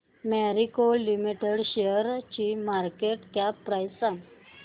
Marico limited शेअरची market cap price सांगा